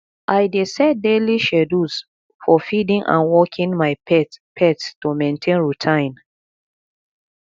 i dey set daily schedules for feeding and walking my pet pet to maintain routine